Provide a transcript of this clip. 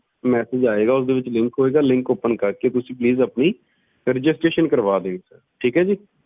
message ਆਏਗਾ ਓਹਦੇ ਵਿਚ link ਹੋਏਗਾ linkopen ਕਰਕੇ ਤੁਸੀਂ ਆਪਣੀ registeration ਕਰਵਾ ਦਿਓ ਠੀਕ ਏ ਜੀ